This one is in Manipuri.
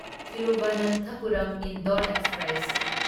ꯊꯤꯔꯨꯚꯅꯥꯟꯊꯄꯨꯔꯝ ꯏꯟꯗꯣꯔ ꯑꯦꯛꯁꯄ꯭ꯔꯦꯁ